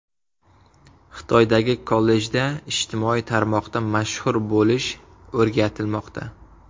Xitoydagi kollejda ijtimoiy tarmoqda mashhur bo‘lish o‘rgatilmoqda.